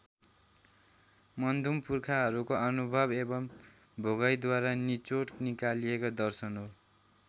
मुन्धुम पुर्खाहरूको अनुभव एवम् भोगाइद्वारा निचोड निकालिएको दर्शन हो।